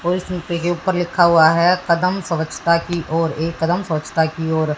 और इसमें ऊपर लिखा हुआ है कदम स्वच्छता की ओर एक कदम स्वच्छता की ओर--